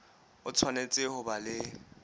o tshwanetse ho ba le